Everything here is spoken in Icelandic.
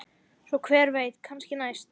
Svo hver veit, kannski næst?